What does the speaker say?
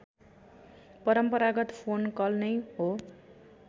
परम्परागत फोन कल नै हो